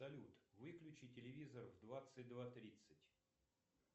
салют выключи телевизор в двадцать два тридцать